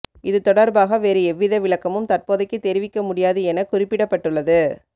இது தொடர்பாக வேறு எவ்வித விளக்கமும் தற்போதைக்கு தெரிவிக்க முடியாது என குறிப்பிடப்பட்டுள்ளது